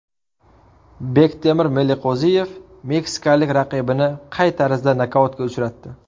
Bektemir Meliqo‘ziyev meksikalik raqibini qay tarzda nokautga uchratdi?